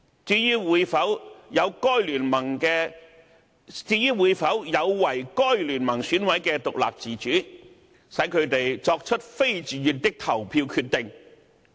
至於這做法會否有違該聯盟選委的獨立自主，使他們"作出非自願的投票決定"？